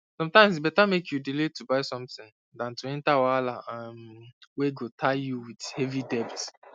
sometimes e better make you delay to buy something than to enter wahala um wey go tie you with heavy debt